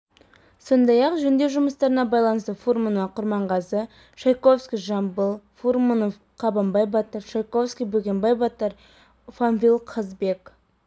сондай-ақ жөндеу жұмыстарына байланысты фурманов құрманғазы чайковский жамбыл фурманов қабанбай батыр чайковский бөгенбай батыр панфилов қазыбек